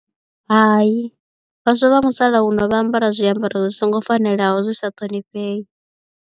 Hai vhaswa vha musalauno vha ambara zwiambaro zwi songo fanelaho zwi sa ṱhonifhei.